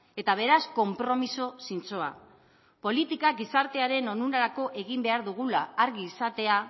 eta beraz konpromiso zintzoa politika gizartearen onurarako egin behar dugula argi izatea